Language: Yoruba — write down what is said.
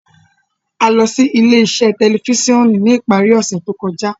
A lọ si ile-iṣẹ tẹlifisiọnu ni ipari ose to kọja.